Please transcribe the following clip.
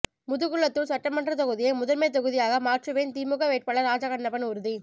முதுகுளத்தூர் சட்டமன்ற தொகுதியை முதன்மை தொகுதியாக மாற்றுவேன் திமுக வேட்பாளர் ராஜகண்ணப்பன் உறுதி